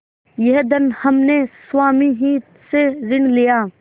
यह धन हमने स्वामी ही से ऋण लिया